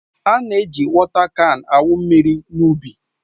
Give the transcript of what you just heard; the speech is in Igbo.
A na-eji wọta kan awụ mmiri n'ubi